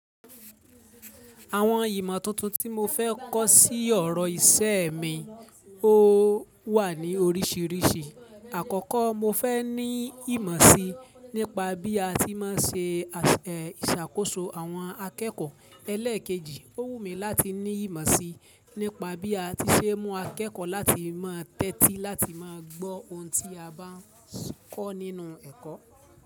Àwọn ìmọ̀ tuntun tí mo fẹ́ kọ́ sí ọ̀rọ̀ iṣẹ́ mi, ó wà ní oríṣiiríṣii. Àkọ́kọ́ mo fẹ́ ní ìmọ̀ sí nípa bí a ti máa ń ṣe ìṣàkóso àwọn akẹ́kọ̀ọ́ ẹlẹ́ẹ̀kejì. Ó wù mí láti ní ìmọ̀ sí nípa bí a ti ṣe mú akẹ́kọ̀ọ́ láti máa tẹ́tí láti máa gbọ́ ohun tí a bá ń kọ́ nínú ẹ̀kọ́